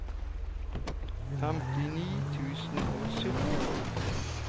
femtini tusen og sytten